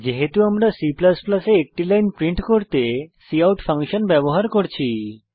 যেহেতু আমরা C এ একটি লাইন প্রিন্ট করতে কাউট ফাংশন ব্যবহার করছি